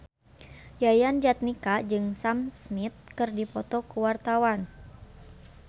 Yayan Jatnika jeung Sam Smith keur dipoto ku wartawan